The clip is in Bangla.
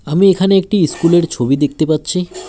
আমি এখানে একটি ইস্কুল -এর ছবি দেখতে পাচ্ছি।